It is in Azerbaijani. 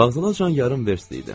Vağzala cəmi yarım verst idi.